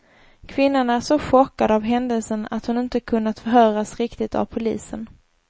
Kvinnan är så chockad av händelsen att hon inte kunnat förhöras riktigt av polisen.